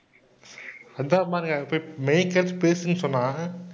சொன்னா